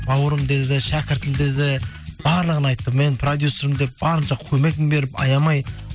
бауырым деді шәкіртім деді барлығын айтты мен продюсермін деп барынша көмегін беріп аямай